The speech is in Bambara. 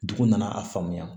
Dugu nana a faamuya